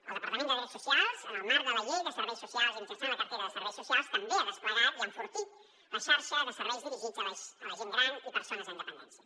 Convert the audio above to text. el departament de drets socials en el marc de la llei de serveis socials i mitjançant la cartera de serveis socials també ha desplegat i ha enfortit la xarxa de serveis dirigits a la gent gran i persones amb dependència